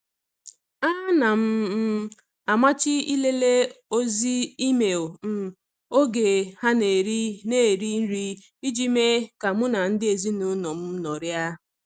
Ana m um amachi ịlele ozi email um oge a na-eri na-eri nri iji mee ka mụ na ndị ezinụụlọ m nọrịa.